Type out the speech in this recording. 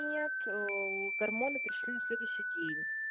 нет гормоны пришли на следующий день